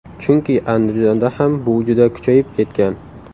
Chunki Andijonda ham bu juda kuchayib ketgan.